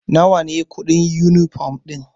Nawa ne kuɗin yunifom ɗin?